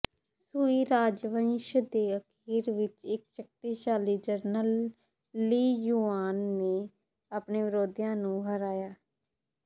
ਸੁਈ ਰਾਜਵੰਸ਼ ਦੇ ਅਖੀਰ ਵਿਚ ਇਕ ਸ਼ਕਤੀਸ਼ਾਲੀ ਜਨਰਲ ਲੀ ਯੁਆਨ ਨੇ ਆਪਣੇ ਵਿਰੋਧੀਆਂ ਨੂੰ ਹਰਾਇਆ